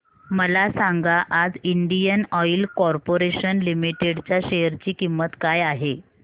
मला सांगा आज इंडियन ऑइल कॉर्पोरेशन लिमिटेड च्या शेअर ची किंमत काय आहे